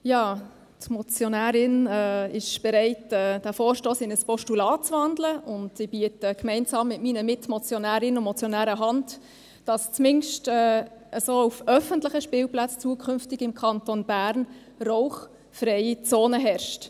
Die Motionärin ist bereit, diesen Vorstoss in ein Postulat zu wandeln, und ich biete gemeinsam mit meinen Mitmotionärinnen und Mitmotionären Hand, damit so zumindest auf öffentlichen Spielplätzen im Kanton Bern zukünftig eine rauchfreie Zone herrscht.